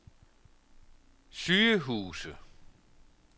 sygehuse